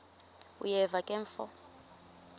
uyeva ke mfo